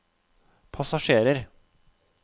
passasjerer